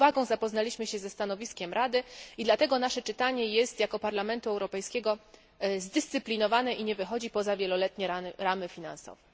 Z uwagą zapoznaliśmy się ze stanowiskiem Rady i dlatego nasze czytanie jako Parlamentu Europejskiego jest zdyscyplinowane i nie wychodzi poza wieloletnie ramy finansowe.